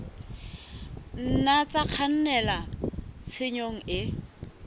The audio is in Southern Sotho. nna tsa kgannela tshenyong e